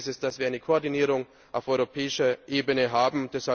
Umso wichtiger ist es, dass wir eine Koordinierung auf europäischer Ebene haben.